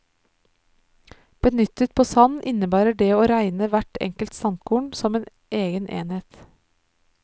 Benyttet på sand innebærer det å regne hvert enkelt sandkorn som en egen enhet.